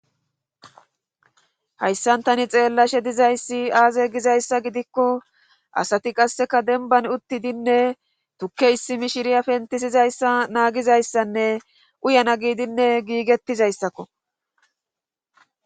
hayssan tani xeellashe dizayssi aaze gizayssa gidikko asati qasseka denban uttidinne tukke issi mishiriya pentisizayssa naagizayssanne uyana giidinne giigettizayssakko